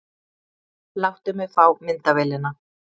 Láttu mig fá myndavélina!